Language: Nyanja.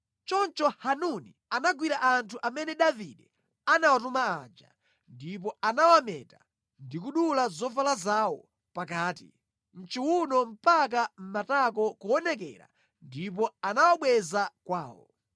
Choncho Hanuni anagwira anthu amene Davide anawatuma aja ndipo anawameta ndi kudula zovala zawo pakati mʼchiwuno mpaka matako kuonekera ndipo anawabweza kwawo.